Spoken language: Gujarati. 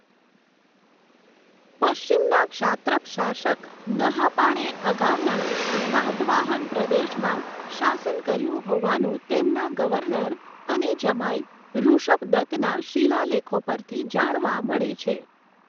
પશ્ચિમના ક્ષાત્રપ શાસક નહાપાણે અગાઉના સાતવાહન પ્રદેશમાં શાસન કર્યું હોવાનું તેમના ગવર્નર અને જમાઈ ઋષભદત્તના શિલાલેખો પરથી જાણવા મળે છે.